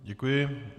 Děkuji.